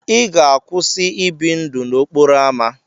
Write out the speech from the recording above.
Ị ga-akwụsị ị bi ndụ n'okporo ámá.